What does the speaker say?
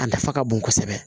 A nafa ka bon kosɛbɛ